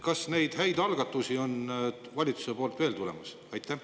Kas neid häid algatusi on valitsusest veel tulemas?